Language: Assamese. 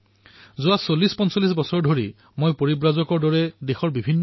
সঁচাকৈয়ে কবলৈ গলে মন কী বাতৰ ধ্বনিটো মোৰ কিন্তু উদাহৰণ আবেগ আৰু আত্মা মোৰ দেশবাসীৰ